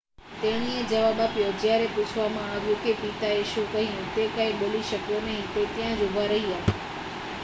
"તેણીએ જવાબ આપ્યો જ્યારે પૂછવામાં આવ્યું કે પિતાએ શું કહ્યું "તે કાંઈ બોલી શક્યો નહીં - તે ત્યાં જ ઉભા રહ્યા.""